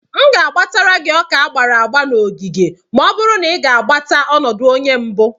M ga-azụtara gị Ọka agbara agba na ogige ma ọ bụrụ na i gbatara ọnọdụ onye mbụ.